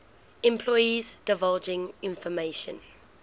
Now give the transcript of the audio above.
employees divulging information